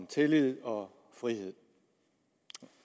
tillid og frihed